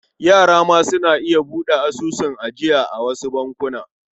Yara ma suna iya buɗe asusun ajiya a wasu bankuna.